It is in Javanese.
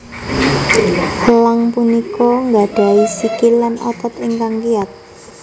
Elang punika nggadhahi sikil lan otot ingkang kiyat